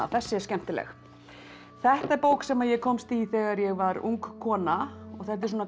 þessi er skemmtileg þetta er bók sem ég komst í þegar ég var ung kona þetta er